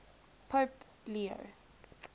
pope leo